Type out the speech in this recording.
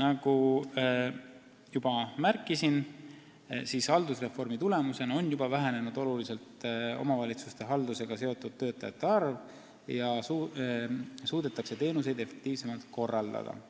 Nagu juba märkisin, on haldusreformi tulemusena oluliselt vähenenud omavalitsuste haldusega seotud töötajate arv ja teenuseid suudetakse efektiivsemalt korraldada –